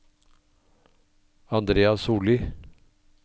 Andrea Sollie